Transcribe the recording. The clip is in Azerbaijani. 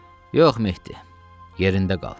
Yox Mehdi, yerində qal.